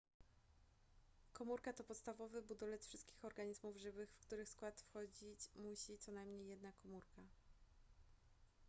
komórka to podstawowy budulec wszystkich organizmów żywych w których skład wchodzić musi co najmniej jedna komórka